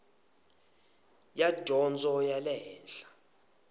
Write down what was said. ya dyondzo ya le henhla